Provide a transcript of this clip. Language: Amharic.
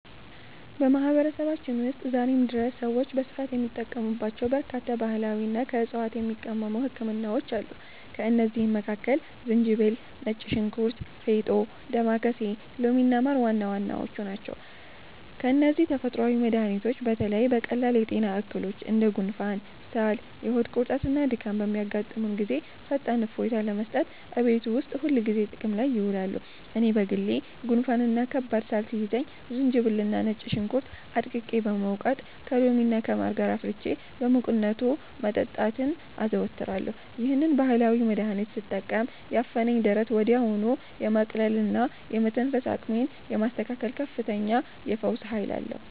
በማህበረሰባችን ውስጥ ዛሬም ድረስ ሰዎች በስፋት የሚጠቀሙባቸው በርካታ ባህላዊና ከዕፅዋት የሚቀመሙ ህክምናዎች አሉ። ከእነዚህም መካከል ዝንጅብል፣ ነጭ ሽንኩርት፣ ፌጦ፣ ዳማከሴ፣ ሎሚና ማር ዋና ዋናዎቹ ናቸው። እነዚህ ተፈጥሯዊ መድኃኒቶች በተለይ በቀላል የጤና እክሎች እንደ ጉንፋን፣ ሳል፣ የሆድ ቁርጠትና ድካም በሚያጋጥሙን ጊዜ ፈጣን እፎይታ ለመስጠት እቤት ውስጥ ሁልጊዜ ጥቅም ላይ ይውላሉ። እኔ በግሌ ጉንፋንና ከባድ ሳል ሲይዘኝ ዝንጅብልና ነጭ ሽንኩርት አድቅቄ በመውቀጥ፣ ከሎሚና ከማር ጋር አፍልቼ በሙቅነቱ መጠጣትን አዘወትራለሁ። ይህንን ባህላዊ መድኃኒት ስጠቀም ያፈነኝን ደረት ወዲያውኑ የማቅለልና የመተንፈስ አቅሜን የማስተካከል ከፍተኛ የፈውስ ኃይል አለው።